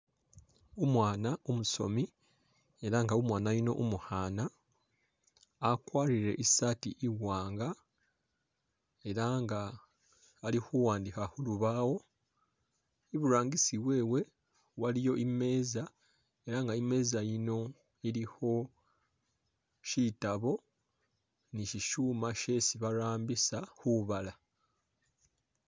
Umwana umusomi ela nga umwana yuno umu’khana akwarele isati iwanga ela nga ali’khuwandikha khulubawo iburangisi wewe waliyo imetsa ela nga imesta ino ilikho shitabo ni shishuma shesi barambisa khubala .